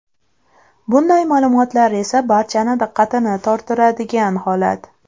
Bunday ma’lumotlar esa barchani diqqatini tortiradigan holat.